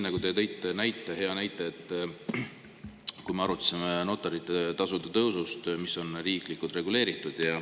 Te tõite hea näite, kui me arutasime notarite tasude tõusu, mis on riiklikult reguleeritud.